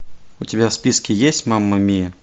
у тебя в списке есть мама мия